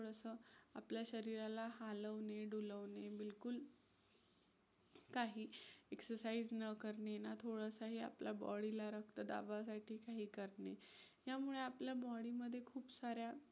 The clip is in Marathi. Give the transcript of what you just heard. आपल्या शरीराला हालवणे, डुलवणे बिलकुल काही exercise न करणे ना थोडंसंही आपल्या body ला रक्तदाबासाठी काही करणे यामुळे आपल्या body मध्ये खूप साऱ्या